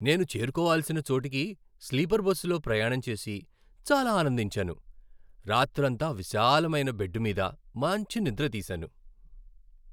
నేను చేరుకోవల్సిన చోటుకి స్లీపర్ బస్సులో ప్రయాణం చేసి చాలా ఆనందించాను, రాత్రంతా విశాలమైన బెడ్డు మీద మాంచి నిద్ర తీసాను.